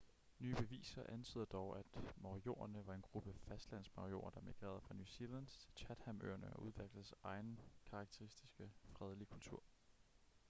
nye beviser antyder dog at moriorierne var en gruppe fastlandsmaorier der migrerede fra new zealand til chatham-øerne og udviklede deres egen karakteristiske fredelige kultur